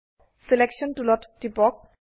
selection টুলত টিপক